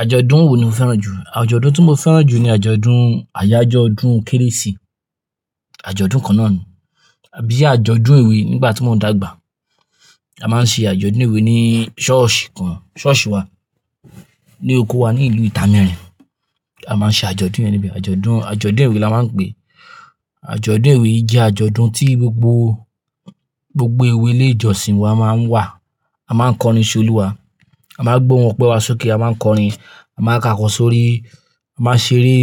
Àjọ̀dún wo ni o fẹ́ràn jù? Àjọ̀dún tí mo fẹ́ràn jù ni àjọ̀dún ayájọ́ ọdún kérésì. Àjọ̀dún kan náà ni. Bí àjọ̀dún èwè nígbà tí wọ́n ń dàgbà. A máa ń ṣe àjọ̀dún ewe ní ṣọ́ọ̀ṣì kan, ṣọ́ọ̀ṣì wa ní oko wa ní ìlú Ita mẹrin. A máa ń ṣe àjọ̀dún yẹn níbí. Àjọ̀dún, àjọ̀dún ewé la máa ń pè é. Àjọ̀dún ewé jẹ́ àjọ̀dún tí gbogbo, gbogbo ewé ilé ìjọsìn wa máa ń wà. A máa ń kọrin ṣe Olúwa, a máa ń gbọ́ wọn pẹ́ wá sókè, a máa ń kọrin, a máa ń kakọ̀ sórí, a máa ń ṣeré.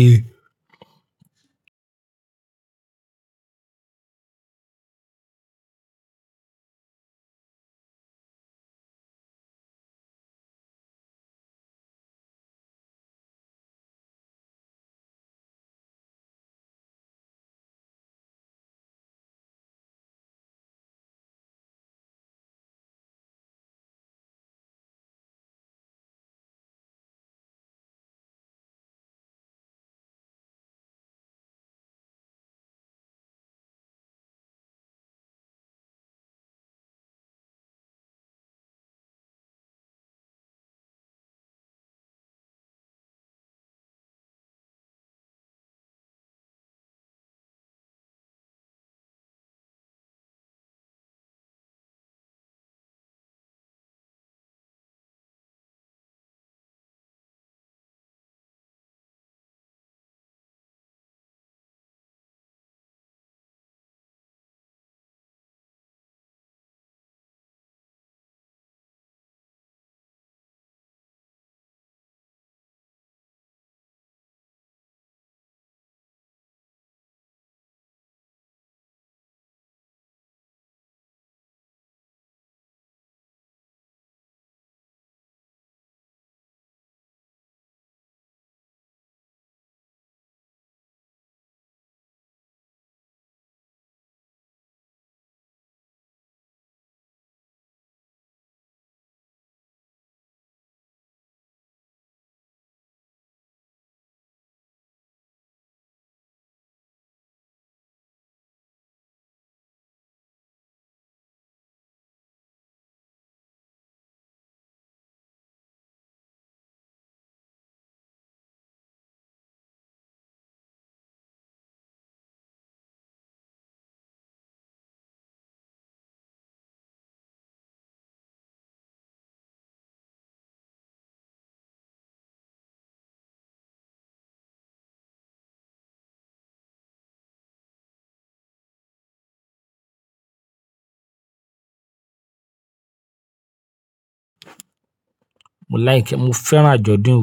Mo like, mo fẹ́ràn àjọ̀dún ewé.